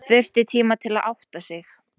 Þurfti tíma til að átta sig.